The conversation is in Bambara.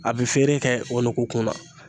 A bɛ feere kɛ o nugu kunna.